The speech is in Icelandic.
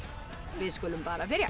við skulum bara byrja